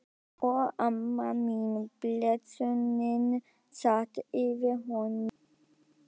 Og amma mín, blessunin, sat yfir honum.